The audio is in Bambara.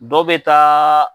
Bɛɛ maa.